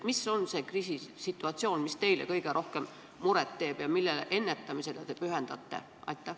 Milline on see kriisisituatsioon, mis teile kõige rohkem muret teeb ja mille ennetamisele te pühendute?